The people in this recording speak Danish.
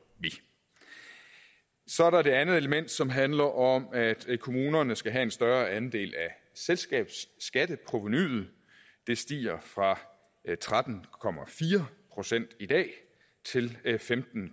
vi så er der det andet element som handler om at kommunerne skal have en større andel af selskabsskatteprovenuet det stiger fra tretten procent i dag til femten